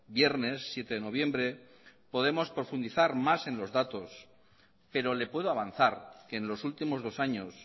viernes siete de noviembre podremos profundizar más en los datos pero le puedo avanzar que en los últimos dos años